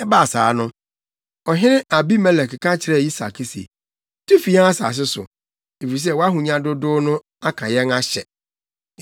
Ɛbaa saa no, ɔhene Abimelek ka kyerɛɛ Isak se, “Tu fi yɛn asase so, efisɛ wʼahonya dodow no aka yɛn ahyɛ.”